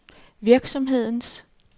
virksomhedens